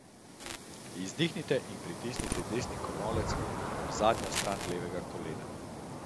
Izdihnite in pritisnite desni komolec ob zunanjo stran levega kolena.